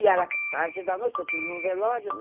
E era tarde da noite, porque eu tinha ido no velório, né?